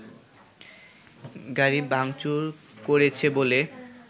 গাড়ি ভাংচুর করেছে বলে